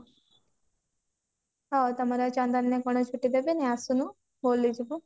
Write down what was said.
ହଁ ତମର ଚନ୍ଦନ ରେ ଗଣେଶ ପୂଜା ହବନି ଆଶୁନୁ